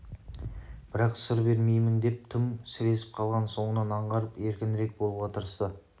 бірақ сыр бермейін деп тым сіресіп қалғанын соңынан аңғарып еркінірек болуға тырысты